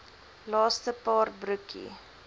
laaste paar broekie